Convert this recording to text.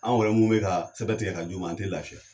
An yɛrɛ mun be ka sɛbɛn tigɛ ka d'u an te lafiya